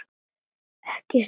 Ekki strax!